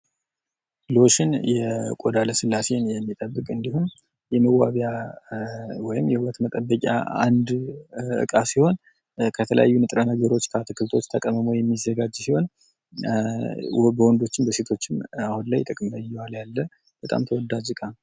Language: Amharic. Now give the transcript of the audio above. ሎሽን የቆዳ የስላሴን የሚጠብቅ እንዲሁም የመዋቢያ ወይም የውበት መጠበቂያ አንድ ዕቃ ከተለያዩ ንጥረ ነገሮች ከአትክልቶች ተቀሞሞ የሚዘጋጅ ሲሆን በወንዶችም በሴቶችም አሁን ላይ ጥቅም ላይ እየዋለ ያለ በጣም ተወዳጅ ዕቃ ነው።